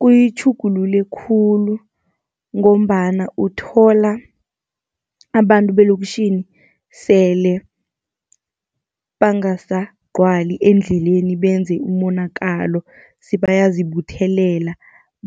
Kuyitjhugulule khulu, ngombana uthola abantu belokishini sele bangasagcwali endleleni benze umonakalo, sebayazibuthelela